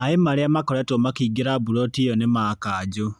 Maĩ marĩa makoretwo makĩingĩra buloti ĩyo nĩma kanjũ.